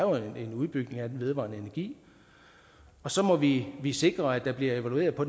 en udbygning af den vedvarende energi og så må vi vi sikre at der bliver evalueret på